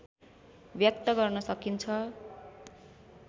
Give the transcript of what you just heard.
व्यक्त गर्न सकिन्छ